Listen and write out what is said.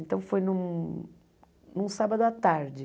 Então foi num num sábado à tarde.